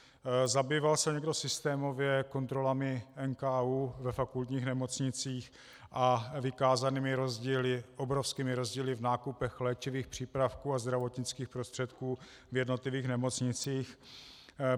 Zabývá se někdo systémově kontrolami NKÚ ve fakultních nemocnicích a vykázanými rozdíly, obrovskými rozdíly v nákupech léčivých přípravků a zdravotnických prostředků v jednotlivých nemocnicích?